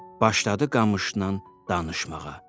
Başladı qamışnan danışmağa.